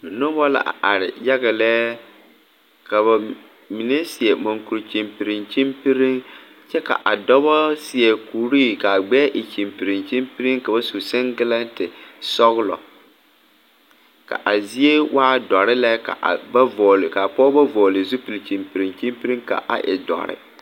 Nobɔ la a are yaga lɛ ka ba mine seɛ mankure kyiŋpiriŋ kyiŋpiriŋ kyɛ ka a dɔbɔ seɛ kuree kaa gbɛɛ e kyiŋpiriŋ kyiŋpiriŋ ka ba su seŋgilɛnte sɔglɔ ka zie waa doɔre la ka ba vɔgle kaa pɔɔbɔ vɔgle zupil kyiŋpiriŋ kyiŋpiriŋ ka a e dɔre.